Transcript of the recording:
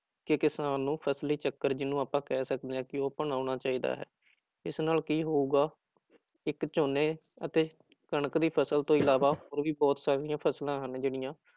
ਕਿ ਕਿਸਾਨ ਨੂੰ ਫ਼ਸਲੀ ਚੱਕਰ ਜਿਹਨੂੰ ਆਪਾਂ ਕਹਿ ਸਕਦੇ ਹਾਂ ਕਿ ਅਪਨਾਉਣਾ ਚਾਹੀਦਾ ਹੈ, ਇਸ ਨਾਲ ਕੀ ਹੋਊਗਾ ਇੱਕ ਝੋਨੇ ਅਤੇ ਕਣਕ ਦੀ ਫ਼ਸਲ ਤੋਂ ਇਲਾਵਾ ਹੋਰ ਵੀ ਬਹੁਤ ਸਾਰੀਆਂ ਫ਼ਸਲਾਂ ਹਨ ਜਿਹੜੀਆਂ